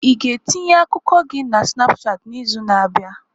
Ị ga-etinye akụkọ gị na Snapushat n'izu na-abịa?